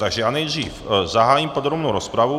Takže já nejdřív zahájím podrobnou rozpravu.